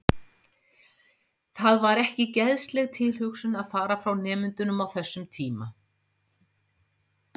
Það var ekki geðsleg tilhugsun að fara frá nemendunum á þessum tíma.